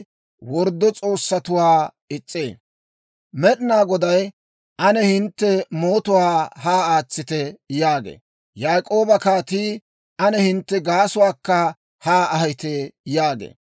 «Med'inaa Goday, ‹Ane hintte mootuwaa haa aatsite› yaagee. Yaak'ooba Kaatii, ‹Ane hintte gaasuwaakka haa ahite› yaagee.